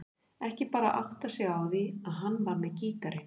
Ekki bara áttað sig á því að hann var með gítarinn.